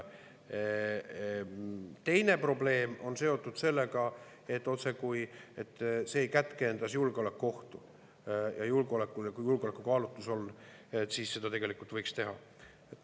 Teine probleem on seotud sellega, otsekui see ei kätkeks endas julgeolekuohtu, ja kui julgeolekukaalutluse, siis seda tegelikult võiks teha.